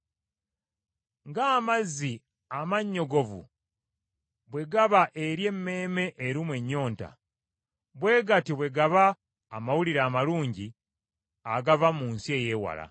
Ng’amazzi amannyogovu bwe gaba eri emmeeme erumwa ennyonta, bwe gatyo bwe gaba amawulire amalungi agava mu nsi ey’ewala.